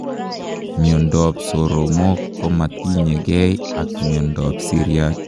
Miondop soromok komatinyee gei ak miondoop siryaat.